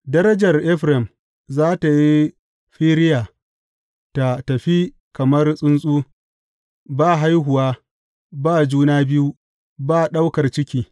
Darajar Efraim za tă yi firiya tă tafi kamar tsuntsu, ba haihuwa, ba juna biyu, ba ɗaukar ciki.